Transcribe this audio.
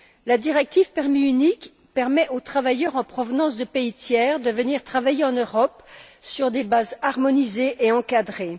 La directive permis unique permet aux travailleurs en provenance de pays tiers de venir travailler en Europe sur des bases harmonisées et encadrées.